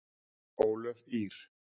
Ólöf Ýr.